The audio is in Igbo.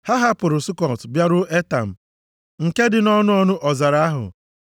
Ha hapụrụ Sukọt bịaruo Etam, nke dị nʼọnụ ọnụ ọzara ahụ.